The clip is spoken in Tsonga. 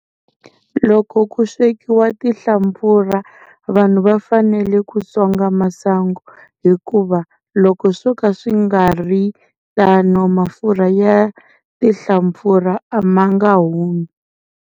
Loko ku swekiwa tinhlampfurha vanhu va fanele ku songa masangu hikuva loko swo ka swi nga ri tano mafurha ya tinhlampfurha a ma nga humi.